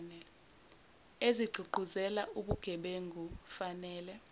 ezigqugquzela ubugebengu fanele